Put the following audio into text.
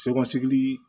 Se ka sigili